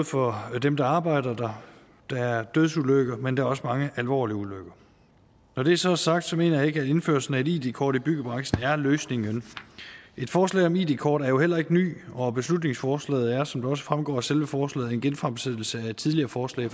for dem der arbejder der der er dødsulykker men der er også mange alvorlige ulykker når det så er sagt mener jeg ikke at indførelsen af et id kort i byggebranchen er løsning et forslag om et id kort er jo heller ikke nyt og beslutningsforslaget er som det også fremgår af selve forslaget en genfremsættelse af et tidligere forslag